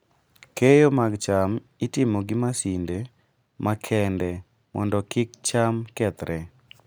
Keyo mag cham itimo gi masinde makende mondo kik cham kethre.